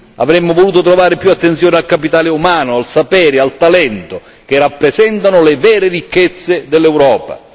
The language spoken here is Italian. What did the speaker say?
Avremmo voluto trovare più attenzione al capitale umano, al sapere e al talento, che rappresentano le vere ricchezze dell'Europa.